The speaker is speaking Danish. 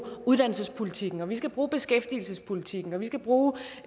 uddannelsespolitikken og vi skal bruge beskæftigelsespolitikken og vi skal bruge